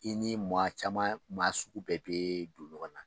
I ni maa caman maa sugu bɛɛ bɛ don ɲɔgɔn na